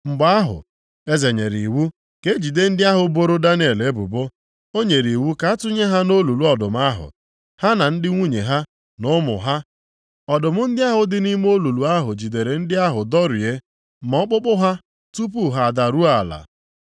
Mgbe ahụ, eze nyere iwu ka e jide ndị ahụ boro Daniel ebubo. O nyere iwu ka a tụnye ha nʼolulu ọdụm ahụ, ha na ndị nwunye ha na ụmụ ha. Ọdụm ndị ahụ dị nʼime olulu ahụ jidere ndị ahụ dọrie ma ọkpụkpụ ha tupu ha adaruo ala.